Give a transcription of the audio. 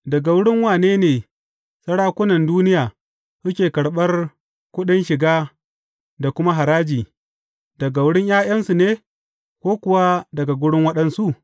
Daga wurin wane ne sarakunan duniya suke karɓar kuɗin shiga da kuma haraji, daga wurin ’ya’yansu ne ko kuwa daga wurin waɗansu?